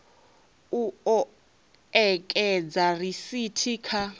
u o ekedza risithi kha